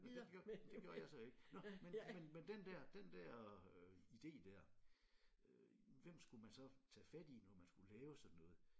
Nå det gjorde det gjorde jeg så ikke nå men men men den der den der idé der øh hvem skulle man så tage fat i når man skulle lave sådan noget?